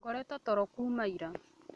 Ngoretwo toro kuuma ira